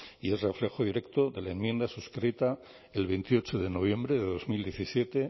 y es reflejo directo de la enmienda suscrita el veintiocho de noviembre de dos mil diecisiete